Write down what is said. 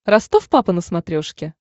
ростов папа на смотрешке